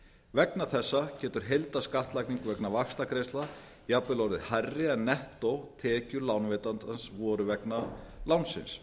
vegna þessa getur heildarskattlagning vegna vaxtagreiðslna jafnvel orðið hærri en nettótekjur lánveitandans voru vegna lánsins